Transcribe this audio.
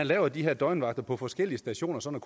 lave de her døgnvagter på forskellige stationer sådan